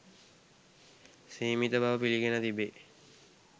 සීමිත බව පිළිගෙන තිබේ.